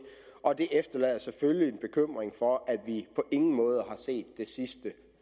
og det efterlader selvfølgelig en bekymring for at vi på ingen måde har set det sidste